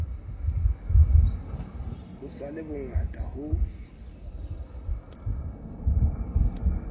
ho sa le hongata ho